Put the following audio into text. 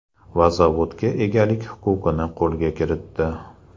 Va zavodga egalik huquqini qo‘lga kiritdi.